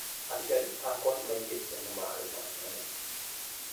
Aciari akwa nĩmaigĩte/nĩmararĩma nyamũ